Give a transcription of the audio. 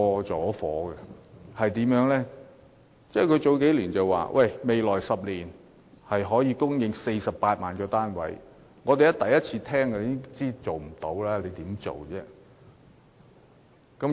政府在數年前表示，未來10年可以供應48萬個住宅單位，我們一聽都知道根本不可能做到。